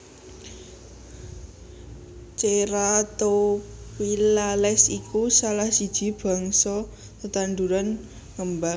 Ceratophyllales iku salah siji bangsa tetanduran ngembang